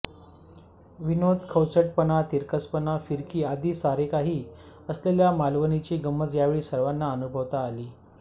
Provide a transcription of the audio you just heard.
विनोद खवचटपणा तिरकसपणा फिरकी आदि सारेकाही असलेल्या मालवणीची गंमत यावेळी सर्वांना अनुभवता आली